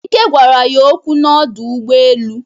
Ike gwara ya okwu n'ọdụ ụgbọ elu.